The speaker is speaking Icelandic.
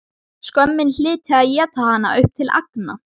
Skömmin hlyti að éta hana upp til agna.